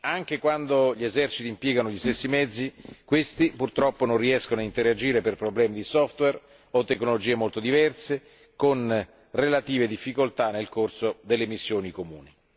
Anche quando gli eserciti impiegano gli stessi mezzi, questi purtroppo non riescono a interagire per problemi di software o tecnologie molto diverse, con relative difficoltà nel corso delle missioni comuni.